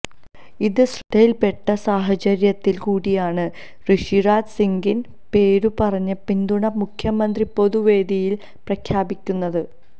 ഇത് ശ്രദ്ധയിൽപ്പെട്ട സാഹചര്യത്തിൽ കൂടിയാണ് ഋഷിരാജ് സിംഗിന് പേരു പറഞ്ഞ് പിന്തുണ മുഖ്യമന്ത്രി പൊതു വേദിയിൽ പ്രഖ്യാപിക്കുന്നത്